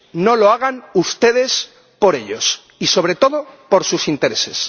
no lo hagan ustedes por ellos ni, sobre todo, por sus intereses.